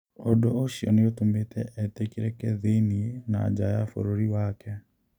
Ũndũ ũcio nĩ ũtũmĩte etĩkĩrĩke thĩinĩ na nja ya bũrũri wake.